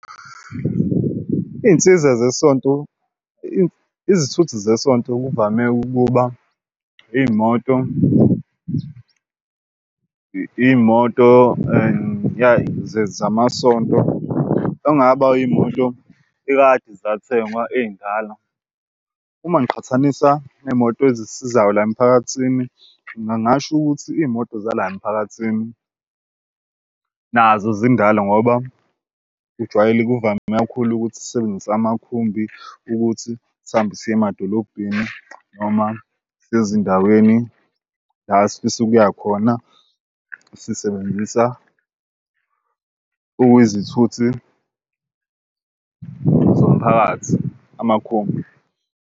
Iy'nsiza zesonto izithuthi zesonto kuvame ukuba iy'moto iy'moto and zamasonto ongaba iy'moto ekade zathengwa ey'ndala uma ngiqhathanisa ney'moto ezisizayo la emphakathini. Ngingasho ukuthi iy'moto zala emiphakathini nazo zindala ngoba kujwayele kuvame kakhulu ukuthi sisebenzise amakhumbi ukuthi sihambe siye emadolobheni noma seye ezindaweni la esifisa ukuya khona sisebenzisa okuyizithuthi zomphakathi amakhumbi.